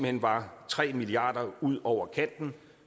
hen var tre milliard kroner ude over kanten